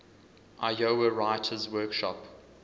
iowa writers workshop